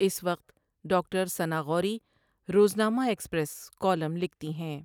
اس وقت doctor Sana Ghauri Roznama Express column لکھتی ہیں ۔